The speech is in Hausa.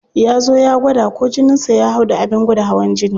Ya zo ya gwada ko jinin sa ya hau da abin gwada hawan jini.